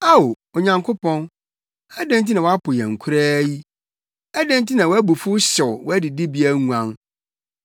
Ao, Onyankopɔn, adɛn nti na woapo yɛn koraa yi? Adɛn nti na wʼabufuw hyew wʼadidibea nguan?